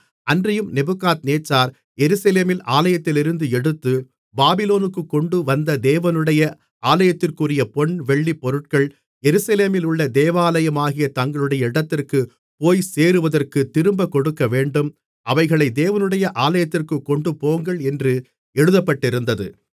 அன்றியும் நேபுகாத்நேச்சார் எருசலேமின் ஆலயத்திலிருந்து எடுத்து பாபிலோனுக்குக் கொண்டுவந்த தேவனுடைய ஆலயத்திற்குரிய பொன் வெள்ளிப் பொருட்கள் எருசலேமிலுள்ள தேவாலயமாகிய தங்களுடைய இடத்திற்குப் போய்சேருவதற்குத் திரும்பக் கொடுக்கவேண்டும் அவைகளை தேவனுடைய ஆலயத்திற்குக் கொண்டுபோங்கள் என்று எழுதப்பட்டிருந்தது